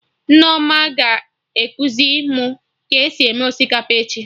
Nneoma ga-ekuzi mụ ka esi eme osikapa echi